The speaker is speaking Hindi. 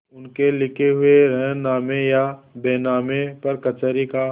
उनके लिखे हुए रेहननामे या बैनामे पर कचहरी का